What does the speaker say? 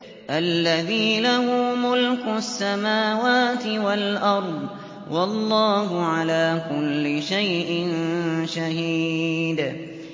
الَّذِي لَهُ مُلْكُ السَّمَاوَاتِ وَالْأَرْضِ ۚ وَاللَّهُ عَلَىٰ كُلِّ شَيْءٍ شَهِيدٌ